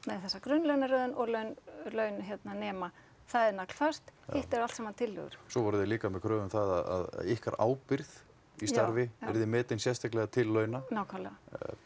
þessa grunnlaunaröðun og laun laun hérna nema það er naglfast hitt eru allt saman tillögur svo voruð þið líka með kröfu um það að ykkar ábyrgð í starfi yrði metin sérstaklega til launa nákvæmlega